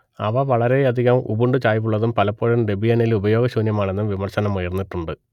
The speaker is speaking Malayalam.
അവ വളരെയധികം ഉബുണ്ടു ചായ്വുള്ളതും പലപ്പോഴും ഡെബിയനിൽ ഉപയോഗശൂന്യമാണെന്നും വിമർശനമുയർന്നിട്ടുണ്ട്